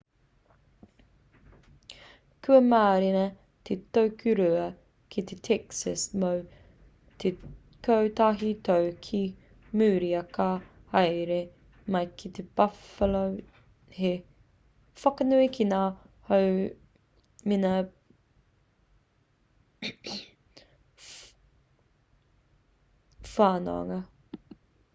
kua mārena te tokorua ki texas mō te kotahi tau ki muri ā ka haere mai ki buffalo hei whakanui ki ngā hoa mengā whanaunga